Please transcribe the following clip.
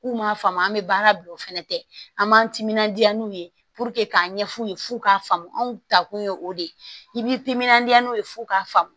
N'u m'a faamu an bɛ baara bila o fɛnɛ tɛ an b'an timinandiya n'u ye k'a ɲɛf'u ye f'u k'a faamu anw ta kun ye o de ye i b'i timinandiya n'u ye f'u k'a faamu